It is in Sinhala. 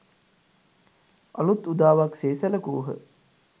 අලූත් උදාවක් සේ සැලකූහ